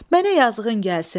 Mənə yazığın gəlsin.